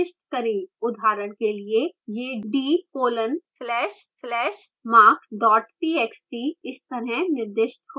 उदाहरण के लिए यह d: \\marks txt इस तरह निर्दिष्ट हो सकता है